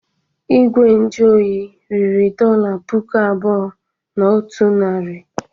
Igwe nju oyi riri dọla puku abụọ na otu narị.